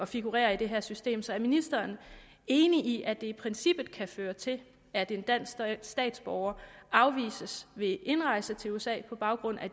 figurerer i det her system så er ministeren enig i at det i princippet kan føre til at en dansk statsborger afvises ved indrejse til usa på baggrund af